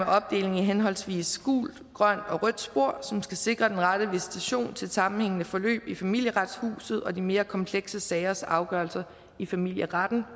opdeling i henholdsvis gult grønt og rødt spor som skal sikre den rette visitation til et sammenhængende forløb i familieretshuset og de mere komplekse sagers afgørelser i familieretten